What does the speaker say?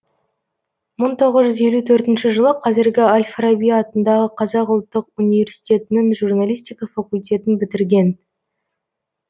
мың тоғыз жүз елу төртінші жылы қазіргі әл фараби атындағы қазақ ұлттық университетінің журналистика факультетін бітірген